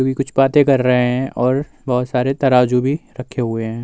जोकि कुछ पाते कर रहे हैं और बोहोत सारे तराजू बी रखे हुए हैं।